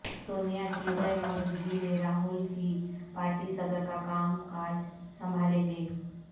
سونیا کی غیر موجودگی میں راہل ہی پارٹی صدر کا کام کاج سنبھالیں گے